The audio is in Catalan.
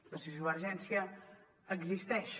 la sociovergència existeix